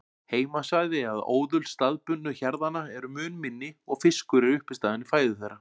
Heimasvæði eða óðul staðbundnu hjarðanna eru mun minni og fiskur er uppistaðan í fæðu þeirra.